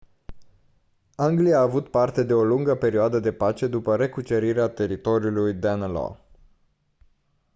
anglia a avut parte de o lungă perioadă de pace după recucerirea teritoriului danelaw